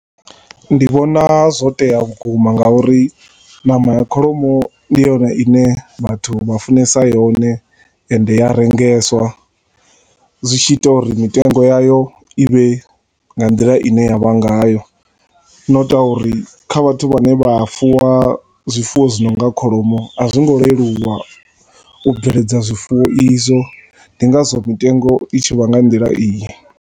Ndi vhona zwotea vhukuma nga uri ṋama ya kholomo ndi yone ine vhathu vha funesa yone ende i ya rengeswa, zwi tshi ita uri mitengo ya yo ivhe nga nḓila i ne ya vha ngayo, no utwa uri kha vhathu vha ne vha fuwa zwifuwa zwi nonga kholomo, a zwi ngo leluwa u giredza zwifuwo izwo, ndi nga zwo mitengo tshi vha nga nḓila iyi.